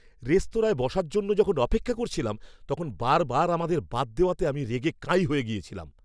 রেস্তোরাঁয় বসার জন্য যখন অপেক্ষা করছিলাম, তখন বারবার আমাদের বাদ দেওয়াতে আমি রেগে কাঁই হয়ে গিয়েছিলাম।